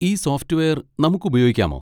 ഈ സോഫ്റ്റ്‌വെയർ നമുക്ക് ഉപയോഗിക്കാമോ?